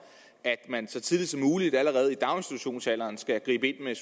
at man så tidligt som muligt allerede i daginstitutionsalderen skal gribe ind med